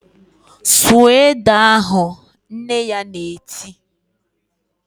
"Sụọ ede ahụ!" Nne ya na-eti